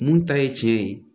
Mun ta ye tiɲɛ ye